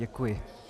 Děkuji.